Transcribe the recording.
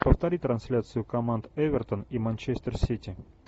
повтори трансляцию команд эвертон и манчестер сити